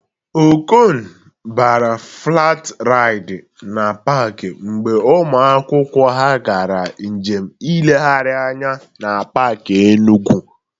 Okon bara flat raịd na pak mgbe ụmụ akwụkwọ ha gara njem nlegharị anya na pak Enugwu